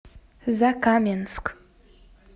закаменск